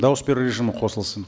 дауыс беру режимі қосылсын